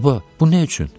Baba, bu nə üçün?